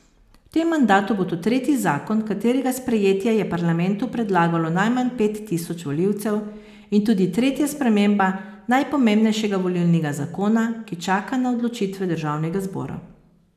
V tem mandatu bo to tretji zakon, katerega sprejetje je parlamentu predlagalo najmanj pet tisoč volivcev in tudi tretja sprememba najpomembnejšega volilnega zakona, ki čaka na odločitve državnega zbora.